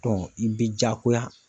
i bɛ jaakoya